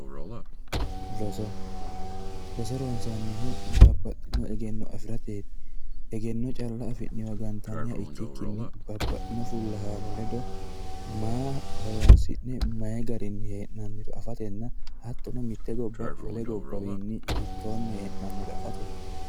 Roso, roso ronsannihu babbaxitino egenno afirateti, egenno calla afi'ne gantanniha ikkikkinni babbaxino fulahano ledo maa horonsi'ne mayi garinni hee'nanniro afatenna hattonno mite gobba wole gobbawinni hiittoni hee'nanniro afateti.